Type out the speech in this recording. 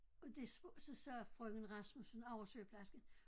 Og det så sagde frøken Rasmussen oversygeplejersken